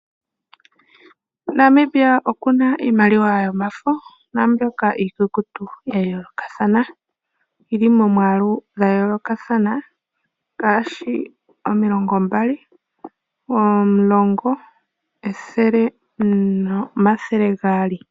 Namibia okuna iimaliwa yomafo, naambyoka iikukutu, yayoolokathana, yili momwaalu gwayolokathana, ngaashi omilongo mbali, omulongo, ethele, nomathele gaali.